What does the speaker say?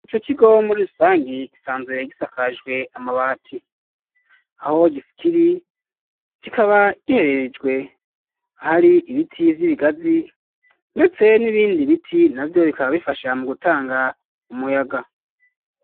ico kigo muri irusangi gisanzwe gisakajwe amabati, aho giskiri kikaba gihererejwe ahari ibiti vy'ibigazi, ndetse n'ibindi biti na vyo bikaba bifasha mu gutanga umuyaga.